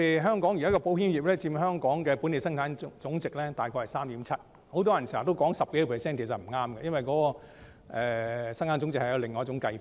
香港保險業現時佔本地生產總值約 3.7%； 很多人經常說有 10% 多，其實不正確，因為生產總值有另一種計算方法。